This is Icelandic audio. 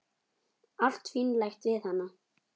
Allt fínlegt við hana.